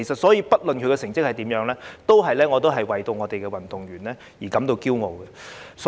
因此，不論他們的成績如何，我都會為香港運動員感到驕傲。